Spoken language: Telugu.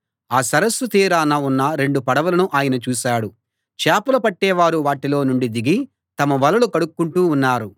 ఆ సరస్సు తీరాన ఉన్న రెండు పడవలను ఆయన చూశాడు చేపలు పట్టేవారు వాటిలో నుండి దిగి తమ వలలు కడుక్కుంటూ ఉన్నారు